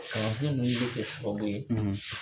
kalansen ninnu be kɛ sababu ye